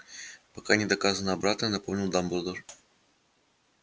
пока не доказано обратное напомнил дамблдор